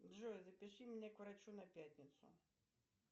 джой запиши меня к врачу на пятницу